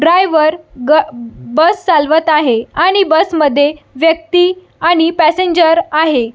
Driver bus चालवत आहे आणि बस मध्ये व्यक्ति आणि पॅसेंजर आहे.